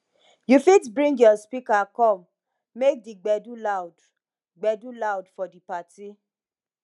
you fit bring your speaker come make di gbedu loud gbedu loud for di party